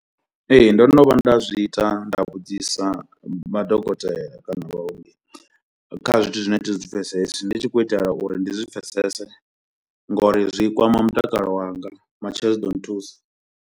Ee ndono vhuya nda zwi ita nda vhudzisa madokotela kana vhaongi kha zwithu zwine zwi pfesesa, ndi tshi khou itela uri ndi zwi pfesese ngori zwi kwama mutakalo wanga. Matshelo zwi ḓo nthusa.